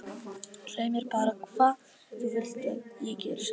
Segðu mér bara hvað þú vilt að ég geri- sagði hún.